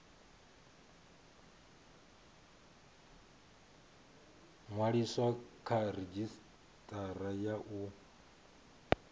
ṅwaliswa kha redzhisitara ya u